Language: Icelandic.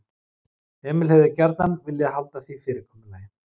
Emil hefði gjarnan viljað halda því fyrirkomulagi.